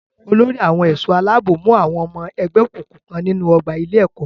Olórí àwọn ẹ̀ṣọ́-aláàbò mú àwọn ọmọ ẹgbé òkùnkùn kan nínú ọgbà ilé-ẹ̀kọ́.